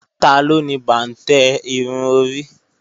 Taló ni bàǹtẹ́ irun orí